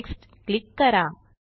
next click करा